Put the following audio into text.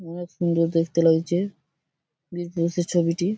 অনেক সুন্দর দেখতে লাগছে বিজনেস -এর ছবিটি ।